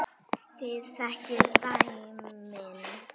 Þið þekkið dæmin.